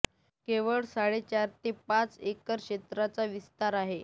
केवळ साडेचार ते पाच एकर क्षेत्राचा विस्तार आहे